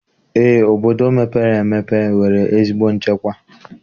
Eé, obodo mepere emepe nwere ezigbo nchekwa